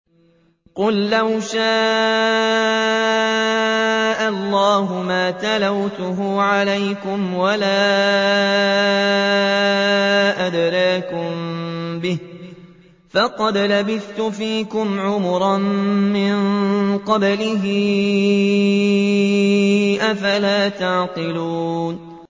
قُل لَّوْ شَاءَ اللَّهُ مَا تَلَوْتُهُ عَلَيْكُمْ وَلَا أَدْرَاكُم بِهِ ۖ فَقَدْ لَبِثْتُ فِيكُمْ عُمُرًا مِّن قَبْلِهِ ۚ أَفَلَا تَعْقِلُونَ